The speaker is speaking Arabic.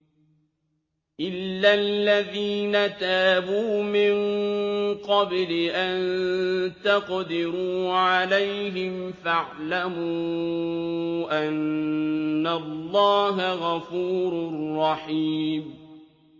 إِلَّا الَّذِينَ تَابُوا مِن قَبْلِ أَن تَقْدِرُوا عَلَيْهِمْ ۖ فَاعْلَمُوا أَنَّ اللَّهَ غَفُورٌ رَّحِيمٌ